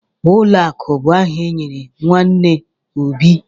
Ụlọakụ bụ aha enyere nwanne Obi.